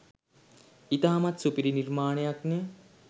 ඉතාමත්ම සුපිරි නිර්මාණයක්නෙ